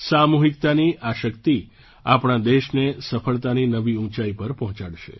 સામૂહિકતાની આ શક્તિ આપણા દેશને સફળતાની નવી ઊંચાઈ પર પહોંચાડશે